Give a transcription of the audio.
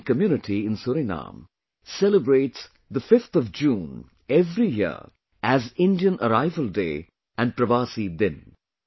The Indian community in Suriname celebrates 5 June every year as Indian Arrival Day and Pravasi Din